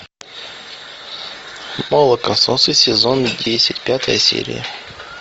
молокососы сезон десять пятая серия